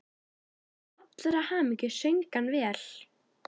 Til allrar hamingju söng hann vel!